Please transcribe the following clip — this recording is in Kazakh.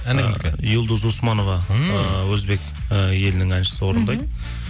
әні кімдікі юлдуз османова і өзбек і елінің әншісі орындайды